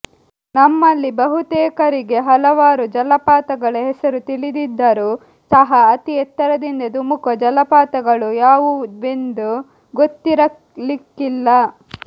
ನಮ್ಮಲ್ಲಿ ಬಹುತೇಕರಿಗೆ ಹಲವಾರು ಜಲಪಾತಗಳ ಹೆಸರು ತಿಳಿದಿದ್ದರೂ ಸಹ ಅತಿ ಎತ್ತರದಿಂದ ಧುಮುಕುವ ಜಲಪಾತಗಳು ಯಾವುವೆಂದು ಗೊತ್ತಿರಲಿಕ್ಕಿಲ್ಲ